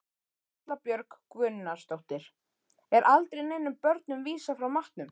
Erla Björg Gunnarsdóttir: Er aldrei neinum börnum vísað frá matnum?